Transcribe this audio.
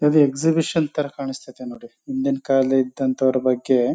exhibition ತಾರಾ ಕಾಣ್ಸ್ತ ಅಯ್ತೆ ನೋಡಿ ಹಿಂದಿನ ಕಾಲ ಇದಂಥವ್ರು ಬಗ್ಗೆ